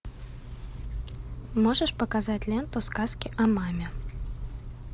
можешь показать ленту сказки о маме